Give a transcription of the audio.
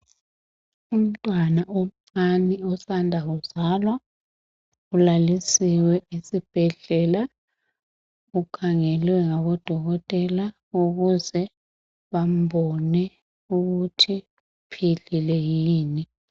Umntwana omncani osanda kuzalwa ulalisiwe esbhedlela, ukhangelwe ngabodokotela ukuze bambone ukuthi uphilile yini.